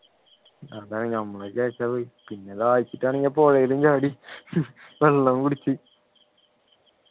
അതാണ് ഞമ്മൾ വിചാരിച്ചത് പിന്നെ ദാഹിച്ചിട്ടാണെങ്കിലും പുഴയിലും ചാടി വെള്ളവും കുടിച്ച്